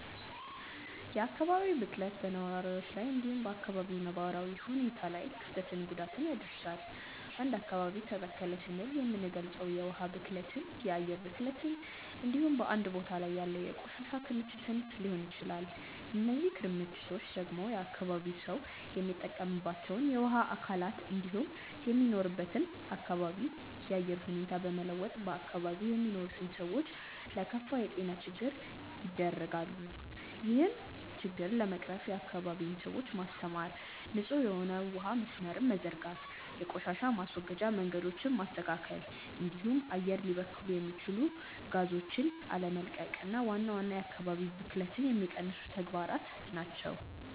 የአካባቢ ብክለት በነዋሪዎች ላይ እንዲሁም በ አካባቢው ነባራዊ ሁኔታ ላይ ክፍትን ጉዳት ያደርሳል። አንድ አካባቢ ተበከለ ስንል የምንልገጸው የውሀ ብክለትን፣ የአየር ብክለትን እንዲሁም በአንድ ቦታ ላይ ያለ የቆሻሻ ክምችትን ሊሆን ይችላል። እነዚህ ክምችቶች ደግሞ የአካባቢው ሰው የሚጠቀምባቸውን የውሀ አካላት እንዲሁም የሚኖርበትን አካባቢ የአየር ሁኔታ በመለወጥ በአካባቢው የሚኖሩትን ሰዎች ለከፋ የጤና ችግር ይደረጋሉ። ይህን ችግር ለመቅረፍም የአካባቢውን ሰዎች ማስተማር፣ ንጹህ የሆነ የውሀ መስመርን መዘርጋት፣ የቆሻሻ ማስወገጃ መንገዶችን ማስተካከል እንዲሁም አየር ሊበክሉ የሚችሉ ጋዞችን አለመቀቅ ዋና ዋና የአካባቢ ብክለትን የሚቀንሱ ተግባራት ናቸው።